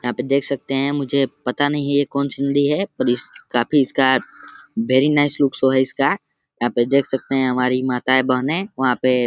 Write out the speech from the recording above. यहाँ पे देख सकते हैं मुझे पता नहीं है ये कौन सी नदी है पर इस काफी इसका वेरी नाइस लुक सो